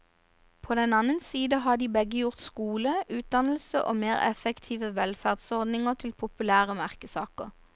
På den annen side har de begge gjort skole, utdannelse og mer effektive velferdsordninger til populære merkesaker.